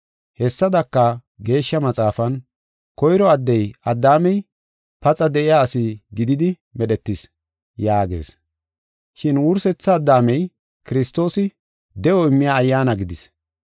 Hessadaka, Geeshsha Maxaafan, “Koyro addey, Addaamey, paxa de7iya ase gididi medhetis” yaagees. Shin wursetha Addaamey, Kiristoosi, de7o immiya ayyaana gidis.